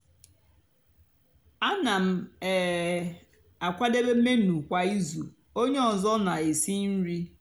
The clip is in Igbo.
áná m um àkwádébé menu kwá ízú ónyé ọzọ nà-èsi nri.